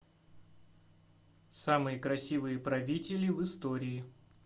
самые красивые правители в истории